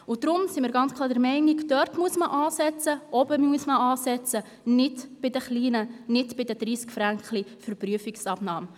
Deshalb sind wir klar der Meinung, dass man bei den oberen Beträgen ansetzen muss und nicht bei den 30 Franken für Prüfungsabnahmen.